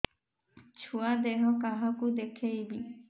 ଛୁଆ ଦେହ କାହାକୁ ଦେଖେଇବି